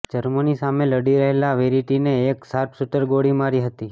Germany સામે લડી રહેલા વેરિટીને એક શાર્પસૂટરે ગોળી મારી હતી